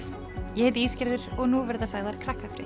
ég heiti og nú verða sagðar